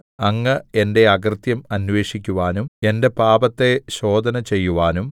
അങ്ങ് എന്റെ അകൃത്യം അന്വേഷിക്കുവാനും എന്റെ പാപത്തെ ശോധന ചെയ്യുവാനും